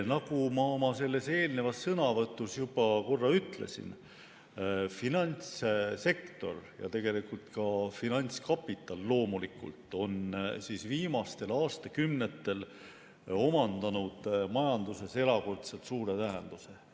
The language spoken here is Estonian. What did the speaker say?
Nagu ma oma eelnevas sõnavõtus juba korra ütlesin, finantssektor ja tegelikult ka finantskapital on viimastel aastakümnetel omandanud majanduses erakordselt suure tähtsuse.